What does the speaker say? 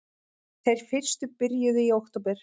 Þeir fyrstu byrjuðu í október